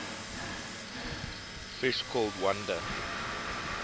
fish called wanda